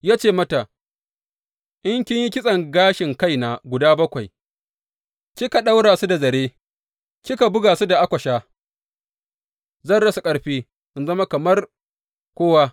Ya ce mata, In kin yi kitson gashin kaina guda bakwai kika ɗaura su da zare kika buga su da akwasha, zan rasa ƙarfi in zama kamar kowa.